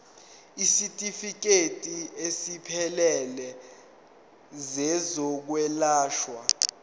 isitifikedi esiphelele sezokwelashwa